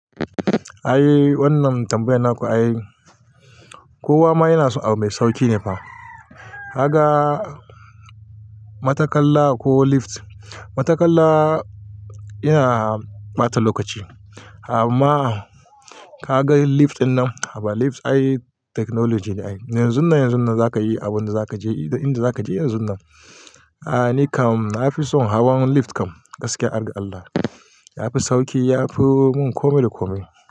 Ai wannan tambayan naku ai, kowa ma yana so abu mai sauƙi ne fa. Kaga matakalla ko lift. Matakalla yana ɓata lokaci, amma ka ga lift dinnan, a ba lift ai technology ne ai. Yanzun nan, yanzun nan zaka yi abun da za ka je, inda za ka je yanzun nan. A ni kam na fi son hawan lift kam gaskiya arda Allah. Ya fi sauƙi, ya fi mun kome da kome.